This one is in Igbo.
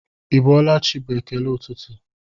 Ị bọọla chi bụ ekele ụtụtụ